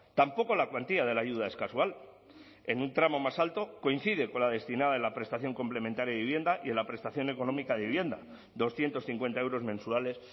tampoco la cuantía de la ayuda es casual en un tramo más alto coincide con la destinada en la prestación complementaria de vivienda y en la prestación económica de vivienda doscientos cincuenta euros mensuales